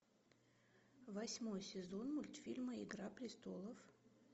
восьмой сезон мультфильма игра престолов